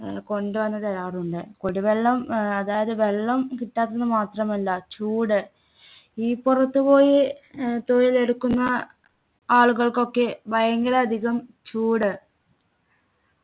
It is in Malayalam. ഏർ കൊണ്ടുവന്നുതരാറുണ്ട് കുടിവെള്ളം ഏർ അതായത് വെള്ളം കിട്ടാത്തത് മാത്രമല്ല ചൂട് ഈ പുറത്തുപോയി ഏർ തൊഴിലെടുക്കുന്ന ആളുകൾക്കൊക്കെ ഭയങ്കര അധികം ചൂട്